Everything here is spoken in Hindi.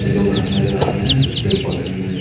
एक दो घर नजर आ रहे हैं कुछ पेड़ पौधे भी नजर --